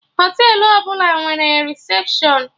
Họtelụ ọbụla nwere recepshụn